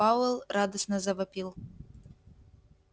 пауэлл радостно завопил